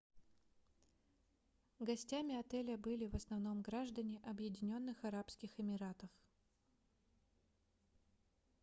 гостями отеля были в основном граждане объединенных арабских эмиратов